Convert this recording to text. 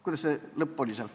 Kuidas see lõpp oli?